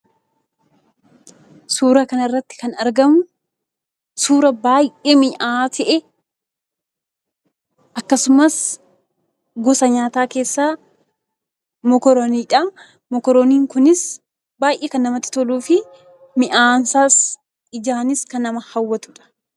Suura kana irratti kan argamu suura baay'ee mi'aayaa ta'e, akkasumas gosa nyaataa keessaa "mokoroonii"dha. Mokorooniin kunis baay'ee kan namatti toluufi mi'aansaas ijaanis kan nama hawwatudha.